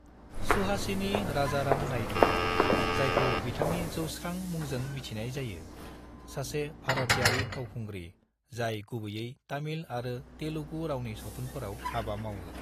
सुहासिनी राजाराम नायडु, जायखौ बिथांनि जौस्रां मुंजों मिथिनाय जायो, सासे भारतयारि फावखुंग्रि जाय गुबैयै तामिल आरो तेलुगु रावनि सावथुनफोराव हाबा मावो।